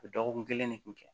U bɛ dɔgɔkun kelen kun kɛ